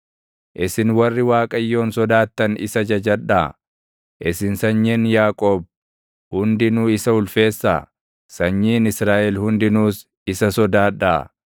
Isin warri Waaqayyoon sodaattan isa jajadhaa! Isin sanyiin Yaaqoob hundinuu isa ulfeessaa! Sanyiin Israaʼel hundinuus isa sodaadhaa!